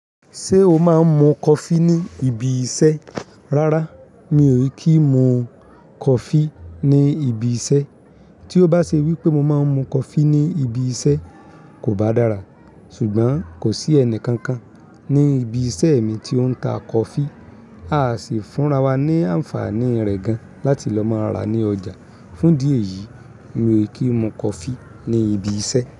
Ṣé o máa ń mu coffee ní ibi iṣẹ́? Rárá, mi ò kí ń mu coffee ní ibi iṣẹ́. Tí ó bá ṣe wípé mo máa ń mu coffee ní ibi iṣẹ́, kò bá dára. Ṣùgbọ́n kò sí ẹnì kankan ní ibi iṣẹ́ mi tí ó ń ta coffee. A sì fúnra wa ní àǹfààní rẹ̀ gan láti lọ máa rà ní ọjà. Fún díẹ̀ yìí, mi ò kí ń mu coffee ní ibi iṣẹ́